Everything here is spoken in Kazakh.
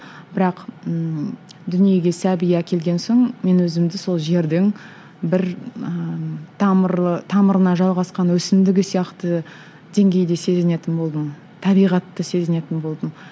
бірақ ммм дүниеге сәби әкелген соң мен өзімді сол жердің бір ыыы тамырлы тамырына жалғасқан өсімдігі сияқты деңгейде сезінетін болдым табиғатты сезінетін болдым